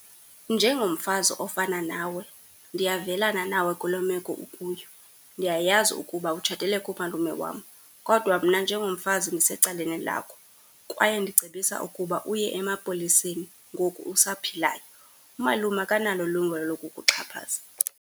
Njengomfazi ofana nawe, ndiyavelana nawe kuloo meko ukuyo. Ndiyayazi ukuba utshatele kumalume wam, kodwa mna njengomfazi ndisecaleni lakho, kwaye ndicebisa ukuba uye emapoliseni ngoku usaphilayo. Umalume akanalo ilungelo lokukuxhaphaza.